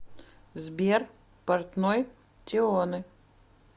сбер портной тионе